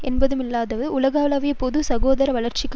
என்றுமில்லாதவாறு உலகளாவிய பொது சுகாதார வளர்ச்சிக்கு